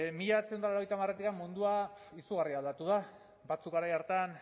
mila bederatziehun eta laurogeita hamaretik mundua izugarri aldatu da batzuek garai hartan